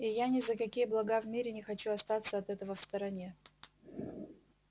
и я ни за какие блага в мире не хочу остаться от этого в стороне